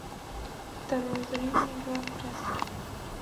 второе зрение игра в прятки